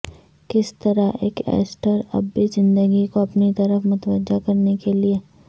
کس طرح ایک ایسٹر اب بھی زندگی کو اپنی طرف متوجہ کرنے کے لئے